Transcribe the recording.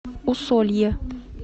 усолье